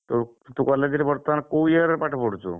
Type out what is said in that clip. ତୁ college ରେ ବର୍ତ୍ତମାନ କୋଉ year ରେ ପାଠ ପଢୁଛୁ?